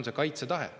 Asi on kaitsetahtes.